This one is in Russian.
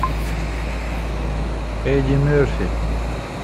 эдди мерфи